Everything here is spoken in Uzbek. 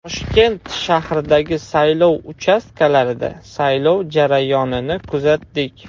Toshkent shahridagi saylov uchastkalarida saylov jarayonini kuzatdik.